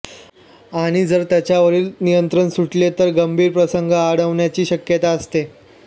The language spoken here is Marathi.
आणि जर त्याच्यावरील नियंत्रण सुटले तर गंभीर प्रसंग ओढवण्याची शक्यता असते